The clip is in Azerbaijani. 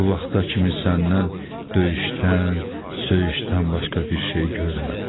Bu vaxta kimi səndən döyüşdən, söyüşdən başqa bir şey görmədim.